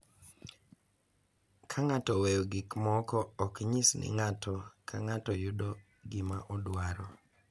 Ka ng’ato oweyo gik moko ok nyis ni ng’ato ka ng’ato yudo gima odwaro,